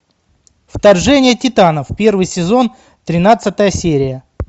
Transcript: вторжение титанов первый сезон тринадцатая серия